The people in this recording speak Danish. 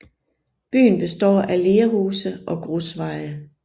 Byen består af lerhuse og grusveje